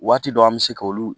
Waati dɔ an bɛ se k'olu